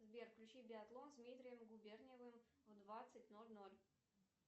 сбер включи биатлон с дмитрием губерниевым в двадцать ноль ноль